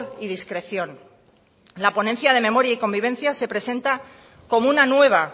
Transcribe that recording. y discreción la ponencia de memoria y convivencia se presenta como una nueva